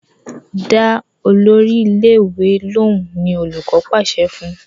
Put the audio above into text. Dá Olórí ilé ìwé lohùn! ní olùkó pàṣẹ fún.